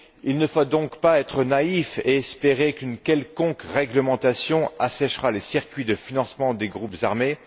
Il ne faut donc pas être naïf et espérer qu'une quelconque réglementation asséchera les circuits de financement des groupes armés.